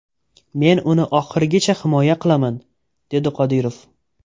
Men uni oxirigacha himoya qilaman”, dedi Qodirov.